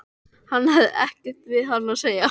Hann hefði ekkert við hana að segja.